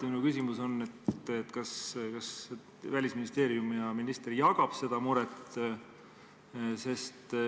Minu küsimus on, kas Välisministeerium ja minister jagavad seda muret.